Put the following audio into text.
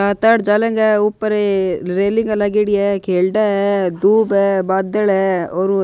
ऊपर रे रेलिंग लागेड़ी है खेलडा हैं दूब है बादल है और --